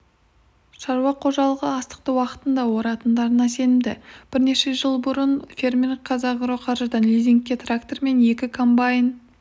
шаруа қожалығы астықты уақытында оратындарына сенімді бірнеше жыл бұрын фермер казагроқаржыдан лизингке трактор мен екі комбаин